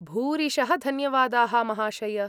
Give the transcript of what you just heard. भूरिशः धन्यवादाः, महाशय!